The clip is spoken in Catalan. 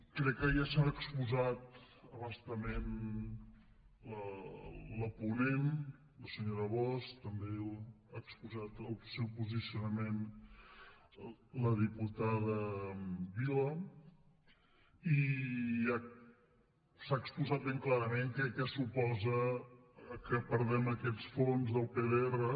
crec que ja s’han exposat a bastament la ponent la senyora bosch també ha exposat el seu posicionament la diputada vilà i ja s’ha exposat ben clarament què suposa que perdem aquests fons del pdr